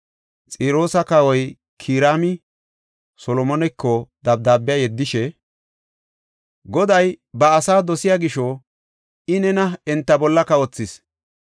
Xiroosa kawoy Kiraami Solomoneko dabdaabe yeddishe, “Goday ba asaa dosiya gisho, I nena enta bolla kawothis.”